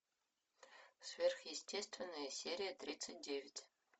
сверхъестественное серия тридцать девять